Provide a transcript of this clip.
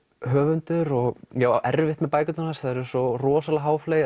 höfundur og ég á erfitt með bækurnar hans þær eru svo rosalega